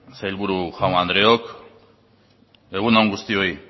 sailburu jaun andreok egun on guztioi